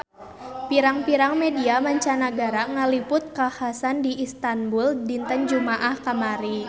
Pirang-pirang media mancanagara ngaliput kakhasan di Istanbul dinten Jumaah kamari